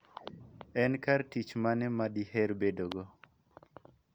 En kar tich mane ma diher bedogo?